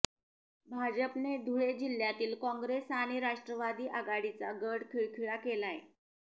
भाजपने धुळे जिल्ह्यातील काँग्रेस आणि राष्ट्रवादी आघाडीचा गड खिळखिळा केलाय